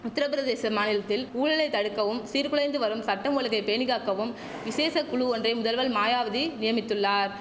உத்திரபிரதேச மாநிலத்தில் ஊழலை தடுக்கவும் சீர் குலைந்து வரும் சட்டம் ஒழுங்கை பேணிக்காக்கவும் விசேஷ குழு ஒன்றை முதல்வல் மாயாவதி நியமித்துள்ளார்